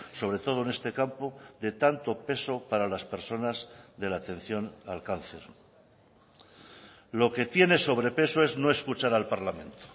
sobre todo en este campo de tanto peso para las personas de la atención al cáncer lo que tiene sobrepeso es no escuchar al parlamento